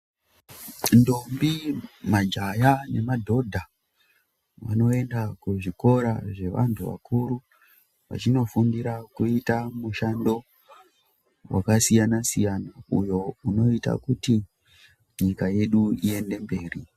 Ndombi majaya nemadhodha vanoenda kuzvikora zvevantu vakuru vachinofundira kuita mushando wakasiyana-siyana uyo unoita kuti nyika yedu ienderere mberi.